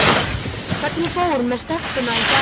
Hvernig fór með stelpuna í gær?